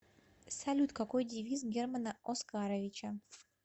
салют какой девиз германа оскаровича